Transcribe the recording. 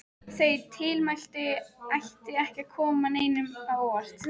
Þau tilmæli ættu ekki að koma neinum á óvart.